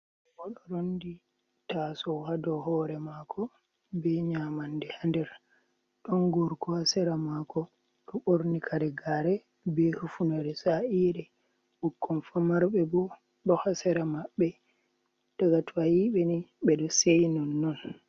Oɗo rondi taso hadow hore mako be nyamande ha nder, ɗon gorko hasera mako ɗo ɓorni kare gare be hufunere sa'ire, ɓukkon famarɓe bo ɗo hasera maɓɓe, daga to a yiɓeni ɓeɗo seyi non non.